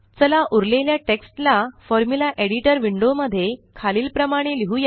चला उरलेल्या टेक्स्ट ला फॉर्म्युला एडिटर विंडो मध्ये खालील प्रमाणे लिहुया